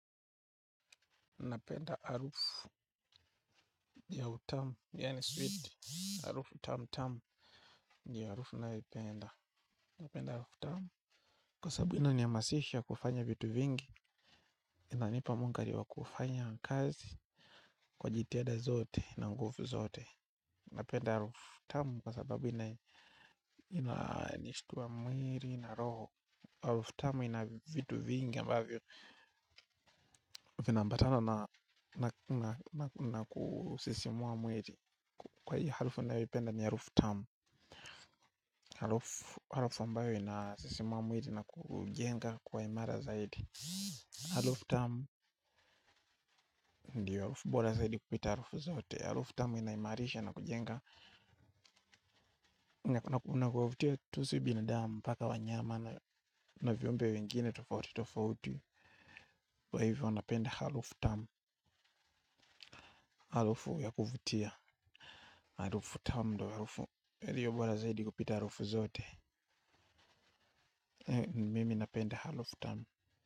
Napenda arufu ya utamu, yaani switi. Arufu tamutamu ndiyo arufu ninayoipenda. Napenda arufu tamu. Kwa sababu ina nihamasisha kufanya vitu vingi, inanipa munkari wa kufanya kazi, kwa jitihada zote, na nguvu zote. Na penda arufu tamu kwa sababu ina nishtuwa mwili na roho. Arufu tamu ina vitu vingi ambavyo. Vinambatana na kusisimua mwili, kwahiyo harufu ninayoipenda ni harufu tamu, harufu ambayo inasisimua mwili na kuujenga kuwa imara zaidi. Harufu tamu ndiyo harufu bora zaidi kupita harufu zote. Harufu tamu ina imarisha na kujenga na kuwavutia tu si binadamu mpaka wanyama na viumbe wengine tofauti tofauti. Kwa hivyo napenda harufu tamu. Harufu ya kuvutia harufu tamu ndo harufu iliyo bora zaidi kupita harufu zote. Mimi napenda harufu tamu.